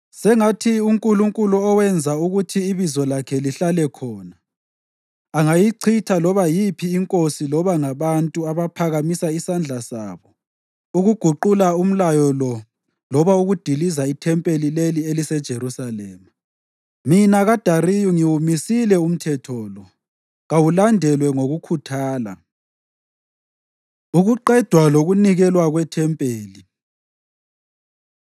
Sengathi uNkulunkulu owenza ukuthi iBizo lakhe lihlale khona, angayichitha loba yiphi inkosi loba ngabantu abaphakamisa isandla sabo ukuguqula umlayo lo loba ukudiliza ithempeli leli eliseJerusalema. Mina kaDariyu ngiwumisile umthetho lo. Kawulandelwe ngokukhuthala. Ukuqedwa Lokunikelwa KweThempeli